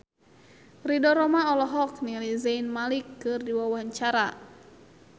Ridho Roma olohok ningali Zayn Malik keur diwawancara